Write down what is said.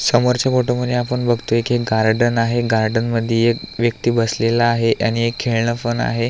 समोरच्या फोटॉमध्ये आपण बघतोय की एक गार्डन आहे गार्डन मधी एक व्यक्ति बसलेला आहे आणि एक खेळण पण आहे.